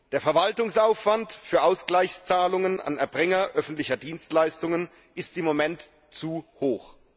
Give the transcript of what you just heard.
Der Verwaltungsaufwand für Ausgleichszahlungen an Erbringer öffentlicher Dienstleistungen ist im Moment zu hoch.